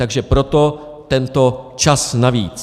Takže proto tento čas navíc.